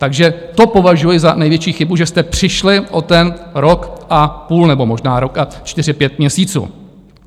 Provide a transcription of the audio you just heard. Takže to považuji za největší chybu, že jste přišli o ten rok a půl, nebo možná rok a čtyři pět měsíců.